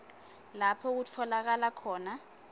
lapho kutfolakala khona